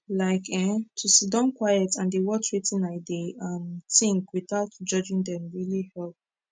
like eh to siddon quiet and dey watch wetin i dey um tink without judging dem really help